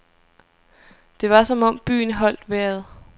Det var som om byen holdt vejret.